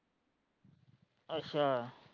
ਅੱਛਾ।